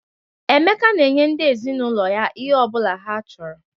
Emeka na-enye ndị ezinaụlọ ya ihe ọ bụla ha chọrọ.